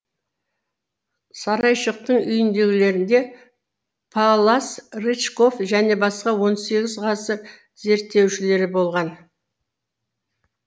сарайшықтың үйінділерінде паллас рычков және басқа он сегіз ғасыр зерттеушілері болған